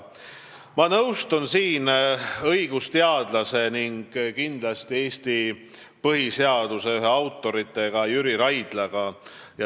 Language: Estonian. Ma nõustun siin õigusteadlastega ning kindlasti ka Eesti põhiseaduse ühe autoriga, Jüri Raidlaga.